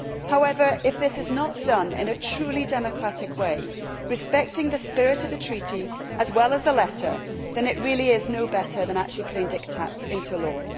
However, if this is not done in a truly democratic way, respecting the spirit of the Treaty as well as the letter, then it really is no better than actually putting dictats into law.